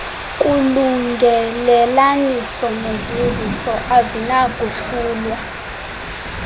kulungelelaniso nozinziso azinakuhlulwa